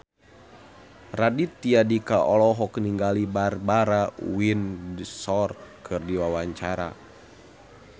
Raditya Dika olohok ningali Barbara Windsor keur diwawancara